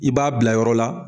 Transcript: I b'a bila yɔrɔ la